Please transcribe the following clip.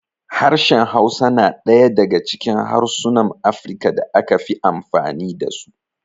Harshen Hausa na ɗaya daga cikin harsunan Afirka da aka fi amfani da su.